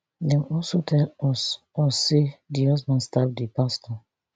dem also tell us us say di husband stab di pastor